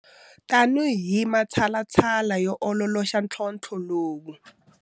Tanihi matshalatshala yo ololoxa ntlhontlho lowu.